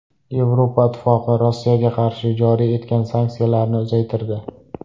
Yevropa Ittifoqi Rossiyaga qarshi joriy etgan sanksiyalarini uzaytirdi.